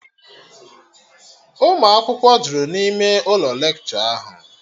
Unu akwụkwọ jụrụ n'ime ụlọ lekshọ ahụ